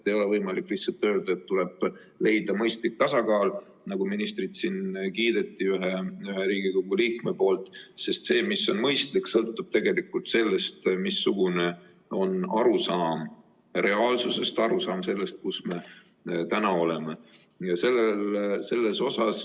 Ei ole võimalik lihtsalt öelda, et tuleb leida mõistlik tasakaal, kuigi ministrit siin üks Riigikogu liige selle eest kiitis, sest see, mis on mõistlik, sõltub sellest, missugune on arusaam reaalsusest, arusaam sellest, kus me täna oleme.